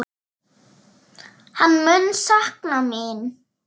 Hann mun sakna mín.